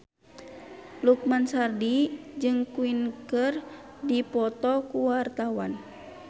Loekman Hakim jeung Queen keur dipoto ku wartawan